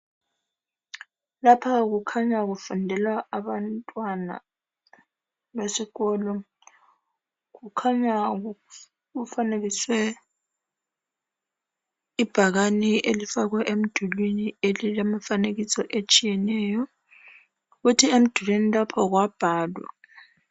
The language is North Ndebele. Lapha kukhanya kufundelwa abantwana besikolo kukhanya kufanekiswe ibhakane elifakwe emdulwini elilemifanekiso etshiyeneyo kuthi emdulwini lapho kwabhalwa